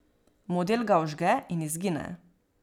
Model ga vžge in izgine.